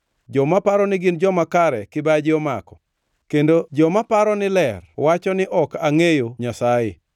Joma paro ni gin joma kare kibaji omako; kendo joma paro ni ler wacho ni ok angʼeyo Nyasaye.